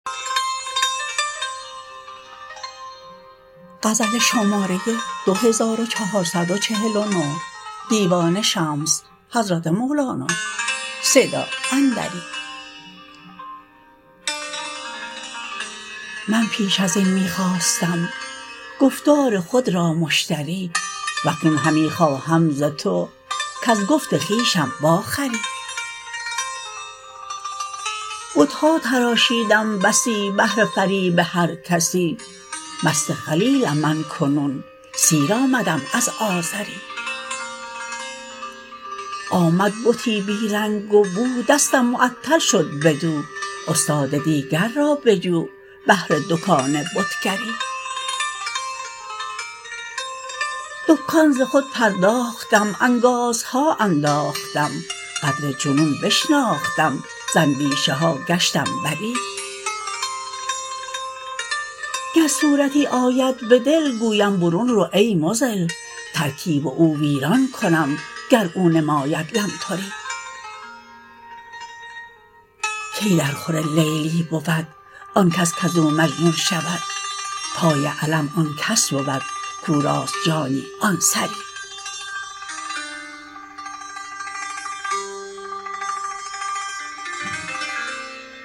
من پیش از این می خواستم گفتار خود را مشتری و اکنون همی خواهم ز تو کز گفت خویشم واخری بت ها تراشیدم بسی بهر فریب هر کسی مست خلیلم من کنون سیر آمدم از آزری آمد بتی بی رنگ و بو دستم معطل شد بدو استاد دیگر را بجو بهر دکان بتگری دکان ز خود پرداختم انگازها انداختم قدر جنون بشناختم ز اندیشه ها گشتم بری گر صورتی آید به دل گویم برون رو ای مضل ترکیب او ویران کنم گر او نماید لمتری کی درخور لیلی بود آن کس کز او مجنون شود پای علم آن کس بود کو راست جانی آن سری